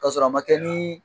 Kasɔrɔ a ma kɛ ni